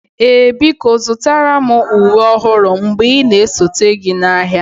Ee biko zụtara m uwe ọhụrụ mgbe ị na-esote gị n'ahịa